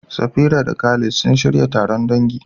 Safira da Khalid sun shirya taron dangi.